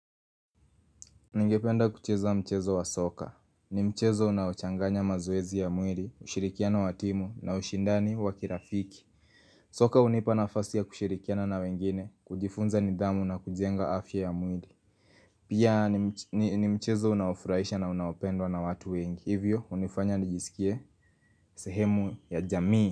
Ningependa kucheza mchezo wa soka. Ni mchezo unaochanganya mazoezi ya mwili, ushirikiano wa timu na ushindani wakirafiki. Soka hunipa nafasi ya kushirikiana na wengine, kujifunza nidhamu na kujenga afya ya mwili. Pia ni mchezo unaofurahisha na unaopendwa na watu wengi. Hivyo unifanya nijisikie sehemu ya jamii.